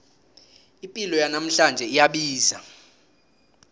ipilo yanamhlanje iyabiza